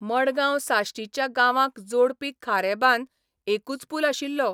मडगांव साश्टीच्या गांवांक जोडपी खारेबांद एकूच पूल आशिल्लो.